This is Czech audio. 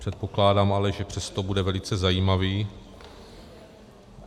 Předpokládám ale, že přesto bude velice zajímavý.